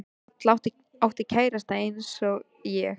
Halla átti kærasta eins og ég.